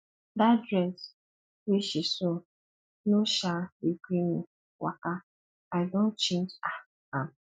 dat dress wey she sew no um dey gree me waka i don change um am